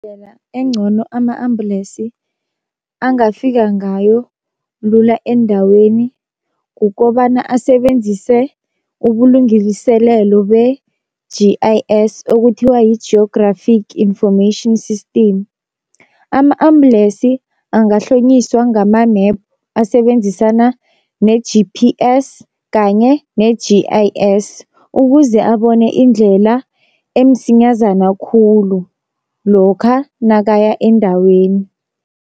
encono ama-ambulensi angafika ngayo lula endaweni kukobana asebenzise ubulungiliselelo be-G_I_S, okuthiwa yi-geographic information system. Ama-ambulensi angahlonyiswa ngama-map asebenzisana ne-G_P_S kanye ne-G_I_S ukuze abone indlela emsinyazana khulu, lokha nakaya endaweni.